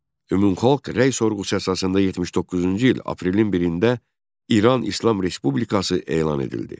Ümumxalq rəy sorğusu əsasında 79-cu il aprelin 1-də İran İslam Respublikası elan edildi.